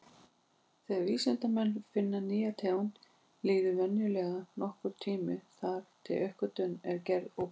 Þegar vísindamenn finna nýja tegund, líður venjulega nokkur tími þar til uppgötvunin er gerð opinber.